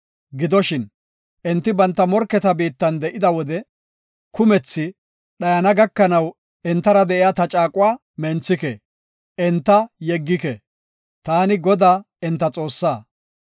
Gidoshin, enti banta morketa biittan de7ida wode kumethi dhayana gakanaw entara de7iya ta caaquwa menthike; enta yeggike. Taani, Godaa enta Xoossaa.